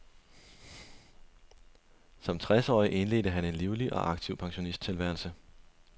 Som tres årig indledte han en livlig og aktiv pensionisttilværelse.